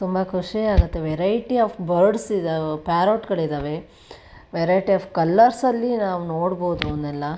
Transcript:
ತುಂಬಾ ಖುಷಿ ಆಗುತ್ತೆ ವೆರೈಟಿ ಆಫ್ ಬರ್ಡ್ಸ್ ಇದಾವ ಪಾರೋಟ್ ಗಳಿದವೆ ವೆರೈಟಿ ಆಫ್ ಕಲರ್ ಅಲ್ಲಿ ನಾವು ನೋಡಬಹುದು ಇವನ್ನೆಲ್ಲಾ.